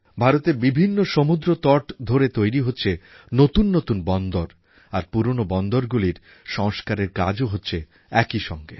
ভারতের বিভিন্ন সমুদ্রতটে তৈরি হচ্ছে নতুন নতুন বন্দর আর পুরোনো বন্দরগুলির সংস্কারের কাজও হচ্ছে একইসঙ্গে